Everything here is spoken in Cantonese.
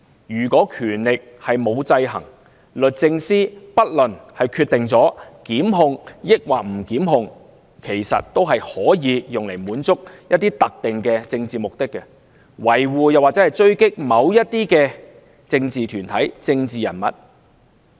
如果權力不受制衡，不論律政司是否作出檢控，其實有關決定也可用來滿足一些特定的政治目的，維護或狙擊某些政治團體和人物。